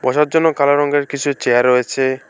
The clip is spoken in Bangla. বসার জন্য কালো রঙের কিছু চেয়ার রয়েছে।